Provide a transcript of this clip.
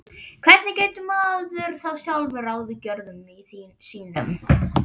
Hvernig getur maður þá sjálfur ráðið gjörðum sínum?